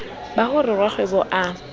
ba ho re rakgwebo a